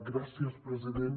gràcies president